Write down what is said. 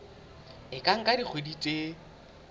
e ka nka dikgwedi tse